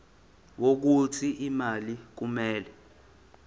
wokuthi imali kumele